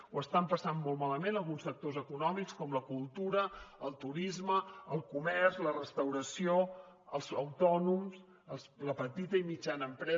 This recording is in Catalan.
ho estan passant molt malament alguns sectors econòmics com la cultura el turisme el comerç la restauració els autònoms la petita i mitjana empresa